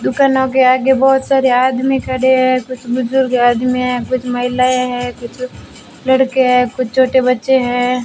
दुकानों के आगे बहुत सारे आदमी खड़े हैं कुछ बुजुर्ग आदमी है कुछ महिलाएं हैं कुछ लड़के हैं कुछ छोटे बच्चे हैं।